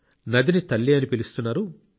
నదిని తల్లి అని పిలుస్తున్నారు